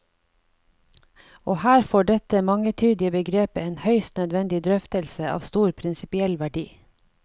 Og her får dette mangetydige begrepet en høyst nødvendig drøftelse av stor prinsippiell verdi.